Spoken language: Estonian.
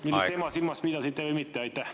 … millist ema te silmas pidasite, või mitte?